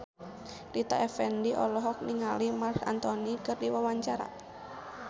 Rita Effendy olohok ningali Marc Anthony keur diwawancara